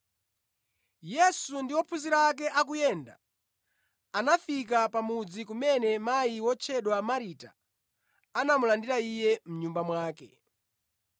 Yesu ndi ophunzira ake akuyenda, anafika pa mudzi kumene mayi wotchedwa Marita anamulandira Iye mʼnyumba mwake.